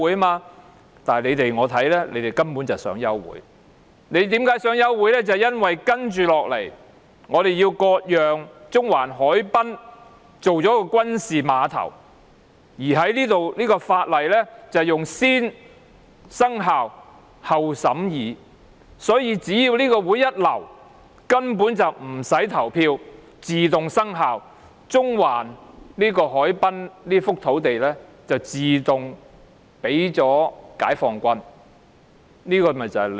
不過，依我看來，他們根本是想休會，因為接下來要討論割讓中環海濱作軍事碼頭的附屬法例，而有關附屬法例以"先訂立後審議"的方式處理，所以一旦流會，無須表決便自動生效，中環海濱這幅土地自動送給解放軍。